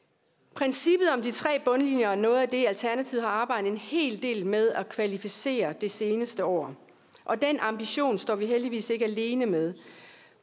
princippet om de tre bundlinjer er noget af det alternativet har arbejdet en hel del med at kvalificere det seneste år og den ambition står vi heldigvis ikke alene med